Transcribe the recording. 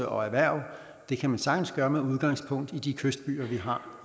og erhverv og det kan man sagtens gøre med udgangspunkt i de kystbyer vi har